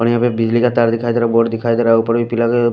अभी यहा बिजली का तार दिखाई दे रहा है बोर्ड दिखाई दे रहा है ऊपर भी पिला--